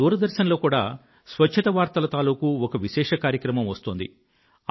ఇప్పుడు దూరదర్శన్ లో కూడా స్వచ్ఛత వార్తల తాలూకూ ఒక విశేష కార్యక్రమం వస్తోంది